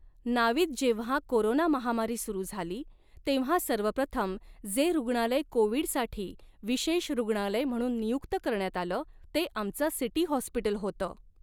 नावीद जेंव्हा कोरोना महामारी सुरू झाली तेव्हा सर्वप्रथम जे रूग्णालय कोविड़साठी विशेष रूग्णालय म्हणून नियुक्त करण्यात आलं, ते आमचं सिटी हॉस्पिटल होतं.